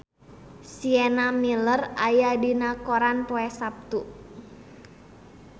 Sienna Miller aya dina koran poe Saptu